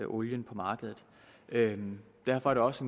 olie på markedet derfor er det også